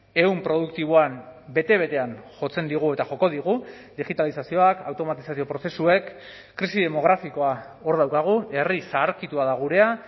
ehun produktiboan bete betean jotzen digu eta joko digu digitalizazioak automatizazio prozesuek krisi demografikoa hor daukagu herri zaharkitua da gurea